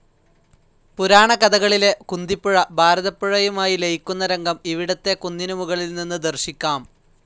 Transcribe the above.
പുരാണ കഥകളിലെ കുന്തിപ്പുഴ ഭാരതപ്പുഴയുമായി ലയിക്കുന്ന രംഗം ഇവിടത്തെ കുന്നിനു മുകളിൽ നിന്ന് ദർശിക്കാം.